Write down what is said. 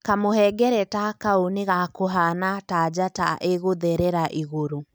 Kamũhengereta kau nĩ gakũhaana ta njata ĩgũtherera igũrũ.